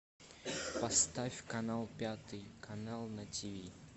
поставь канал пятый канал на тв